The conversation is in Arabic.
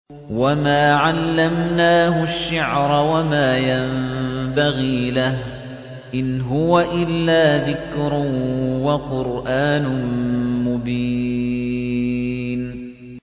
وَمَا عَلَّمْنَاهُ الشِّعْرَ وَمَا يَنبَغِي لَهُ ۚ إِنْ هُوَ إِلَّا ذِكْرٌ وَقُرْآنٌ مُّبِينٌ